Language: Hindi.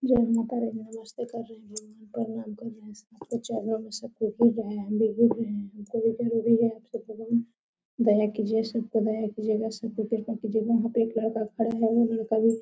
जय माता रानी नमस्ते कर रहे हैं प्रणाम कर रहे हैं सबके चरणों में सबको पूज रहे हैं दया कीजिए सब पर दया कीजिएगा सब पर कृपा कीजिएगा ।